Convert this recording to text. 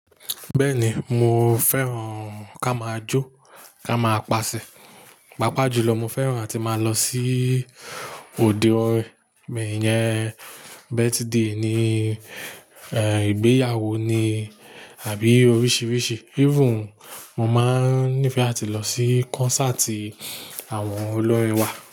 Bẹ́ẹ̀ni, mo fẹ́ràn ká máa jó, ká máa pasẹ̀. Pápá jùlọ mo fẹ́ràn ati máa lọ sí òde orin mi iyẹn birthday ni, eh ìgbéyàwó ni àbí oríṣiríṣi. Even mo máa ń nífẹ̀ẹ́ ati lọ sí concert àwọn olórin wa.